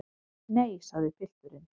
Nei, sagði pilturinn.